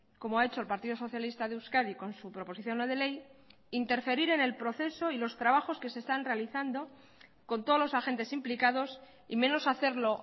como ha hecho el partido socialista de euskadi con su proposición no de ley interferir en el proceso y los trabajos que se están realizando con todos los agentes implicados y menos hacerlo